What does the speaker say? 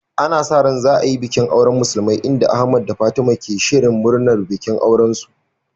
Ana sa ran za a yi bikin auren musulmai, inda Ahmed da Fatima ke shirin murnar bikin aurensu.